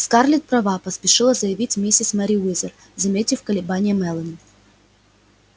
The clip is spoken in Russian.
скарлетт права поспешила заявить миссис мерриуэзер заметив колебания мелани